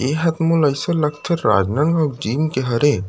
ये ह मोला ऐसे लगथे राजनांदगाव जिम के हरे।